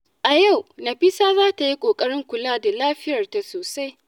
A yau, Nafisa za ta yi ƙoƙarin kula da lafiyarta sosai.